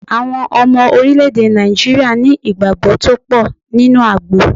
Àwọn Ọmọ Orílè-èdè Nàìjíríà ní ìgbàgbó tó pò nínú àgbo